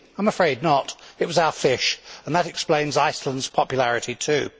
I am afraid not it was our fish, and that explains Iceland's popularity too.